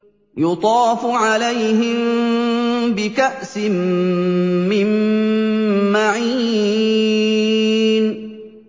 يُطَافُ عَلَيْهِم بِكَأْسٍ مِّن مَّعِينٍ